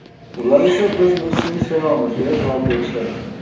Ular esa: ‘Biz Messini sevamiz’, deya javob berishadi.